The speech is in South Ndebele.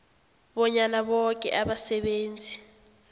bonyana boke abasebenzi